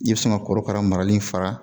I bɛ sɔn ka korokara marali fara